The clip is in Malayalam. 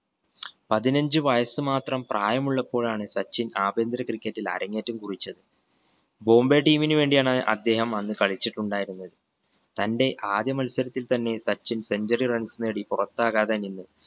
പത്തിനഞ്ചു വയസ്സ് മാത്രം പ്രായമുള്ളപ്പോഴാണ് സച്ചിൻ ആഭ്യന്തര cricket ൽ അരങ്ങേറ്റം കുറിച്ചത്. ബോംബൈ team ന് വേണ്ടിയാണ് അദ്ദേഹം അന്ന് കളിചിട്ടുണ്ടായിരുന്നത്. തന്റെ ആദ്യ മത്സരത്തിൽ തന്നെ സച്ചിൻ centuary runs നേടി പുറത്താകാതെ നിന്നു.